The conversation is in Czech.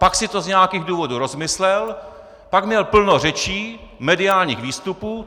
Pak si to z nějakých důvodů rozmyslel, pak měl plno řečí, mediálních výstupů!